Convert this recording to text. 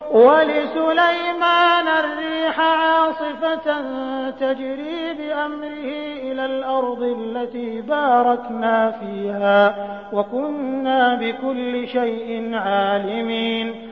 وَلِسُلَيْمَانَ الرِّيحَ عَاصِفَةً تَجْرِي بِأَمْرِهِ إِلَى الْأَرْضِ الَّتِي بَارَكْنَا فِيهَا ۚ وَكُنَّا بِكُلِّ شَيْءٍ عَالِمِينَ